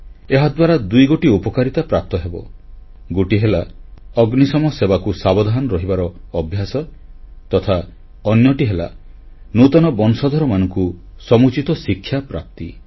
ଏହାଦ୍ୱାରା ଦୁଇଗୋଟି ଉପକାରିତା ପ୍ରାପ୍ତ ହେବ ଗୋଟିଏ ହେଲା ଅଗ୍ନିଶମ ସେବାକୁ ସାବଧାନ ରହିବାର ଅଭ୍ୟାସ ତଥା ଅନ୍ୟଟି ହେଲା ନୂତନ ବଂଶଧରମାନଙ୍କୁ ସମୁଚିତ ଶିକ୍ଷାପ୍ରାପ୍ତି